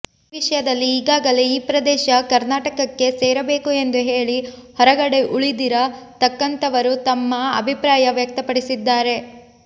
ಈ ವಿಷಯದಲ್ಲಿ ಈಗಾಗಲೇ ಈ ಪ್ರದೇಶ ಕರ್ನಾಟಕಕ್ಕೆ ಸೇರಬೇಕು ಎಂದು ಹೇಳಿ ಹೊರಗಡೆ ಉಳಿದಿರ ತಕ್ಕಂಥವರು ತಮ್ಮ ಅಭಿಪ್ರಾಯ ವ್ಯಕ್ತಪಡಿಸಿದ್ದಾರೆ